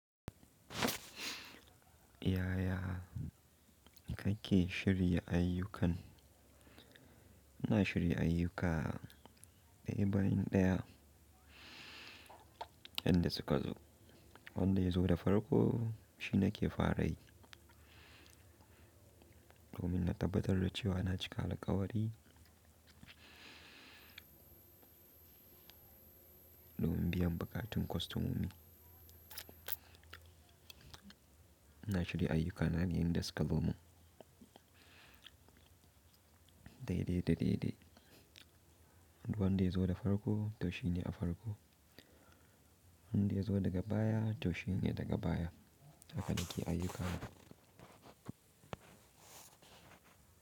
Yaya kake shirya ayyukan? Ina shirin ayyuka daya bayan daya inda suka zo. Wanda ya zo da farko shine ke fara yi. Domin na tabbatar da cewa na cika lakwari domin biyan buƙatun kostomomi. Ina shirya ayyukana yayinda suka zo. Daidai daidai. Wanda ya zo da farko to shine a farko. Wanda ya zo daga baya to shine daga baya. Haka ne ke ayyukana.